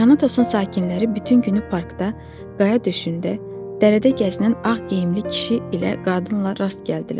Tanatosun sakinləri bütün günü parkda, qaya döşündə, dəcədə gəzinən ağ geyimli kişi ilə qadınla rast gəldilər.